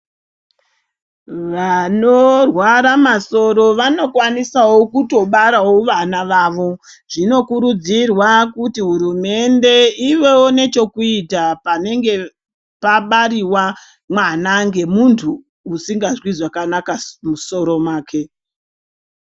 Vanorwara masoro vanokwanisawo kutobarowo vana vavo zvinokurudzirwa kuti hurumende iyevo nechekuita panenge pabariwa mwana ngemunhu usingazwi zvakanaka mumusoro make.